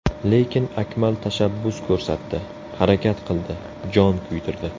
Lekin Akmal tashabbus ko‘rsatdi, harakat qildi, jon kuydirdi.